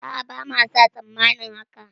A'a bama sa tsammanin haka